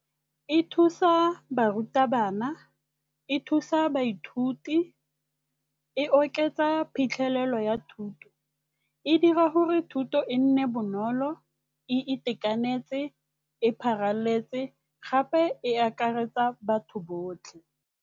E thusa barutabana, e thusa baithuti, e oketsa phitlhelelo ya thuto. E dira gore thuto e nne bonolo e itekanetse, e pharaletse gape e akaretsa batho botlhe.